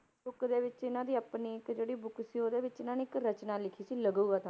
Book ਦੇ ਵਿੱਚ ਇਹਨਾਂ ਦੀ ਆਪਣੀ ਇੱਕ ਜਿਹੜੀ book ਸੀ ਉਹਦੇ ਵਿੱਚ ਇਹਨਾਂ ਨੇ ਰਚਨਾ ਲਿਖੀ ਸੀ ਲਘੂ ਕ~